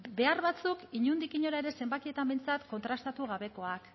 behar batzuk inondik inora ere zenbakietan behintzat kontrastatu gabekoak